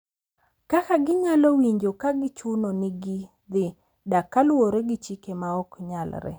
Kaka ginyalo winjo ka gichuno ni gidhi dak kaluwore gi chike ma ok nyalre .